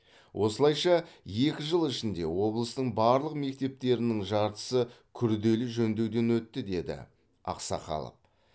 осылайша екі жыл ішінде облыстың барлық мектептерінің жартысы күрделі жөндеуден өтті деді ақсақалов